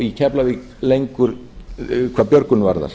í keflavík lengur hvað björgun varðar